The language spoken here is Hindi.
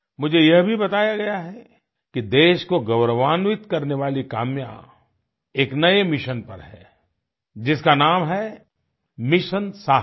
मुझे यह भी बताया गया है कि देश को गौरवान्वित करने वाली काम्या एक नये मिशन पर है जिसका नाम है मिशन साहस